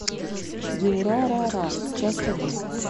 дюрарара часть один